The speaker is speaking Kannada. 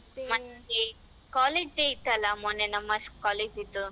College day ಇತ್ತಲ್ಲಾ ಮೊನ್ನೆ ನಮ್ಮ college ಇದ್ದು.